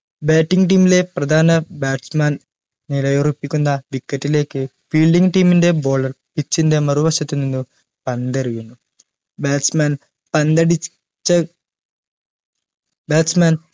batting team ലെ പ്രധാന bat man നിലയുറപ്പിക്കുന്ന wicket ലേക്ക് fielding team NTE baller pitch ൻറെ മറുവശത്ത്‌ നിന്ന് പന്ത് എറിയുന്നു bat man പന്തടി ച്ച bat man